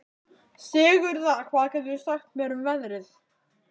Sigurða, hvað geturðu sagt mér um veðrið?